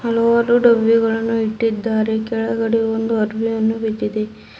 ಹಲವಾರು ಡಬ್ಬಿಗಳನ್ನು ಇಟ್ಟಿದ್ದಾರೆ ಕೆಳಗಡೆ ಒಂದು ಅರ್ಬಿಯನ್ನು ಬಿದ್ದಿದೆ.